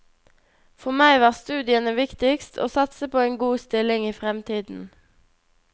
For meg var studiene viktigst, å satse på en god stilling i fremtiden.